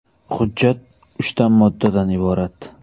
Hujjat uchta moddadan iborat.